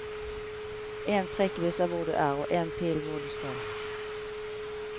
En prikk viser hvor du er, og en pil hvor du skal.